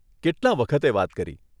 કેટલાં વખતે વાત કરી.